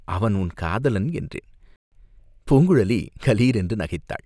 "அவன் உன் காதலன் என்றேன்." பூங்குழலி கலீர் என்று நகைத்தாள்.